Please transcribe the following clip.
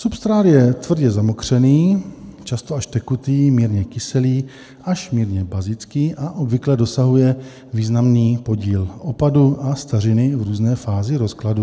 Substrát je tvrdě zamokřený, často až tekutý, mírně kyselý až mírně bazický a obvykle dosahuje významný podíl opadu a stařiny v různé fázi rozkladu.